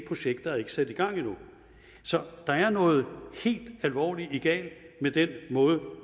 projekter er ikke sat i gang endnu så der er noget helt alvorligt galt med den måde